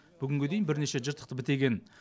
бүгінге дейін бірнеше жыртықты бітеген